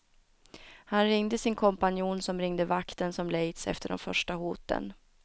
Han ringde sin kompanjon som ringde vakten som lejts efter de första hoten.